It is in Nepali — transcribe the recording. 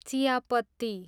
चियापत्ती